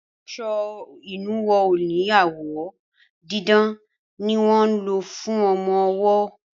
aṣọ inuwo òní awọ didán ní wọ ló fún ọmọ ọwo.